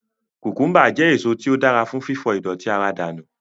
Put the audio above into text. Kùkùḿbà jẹ́ èso tí ó dára fún fífọ ìdọ̀tí ara dànù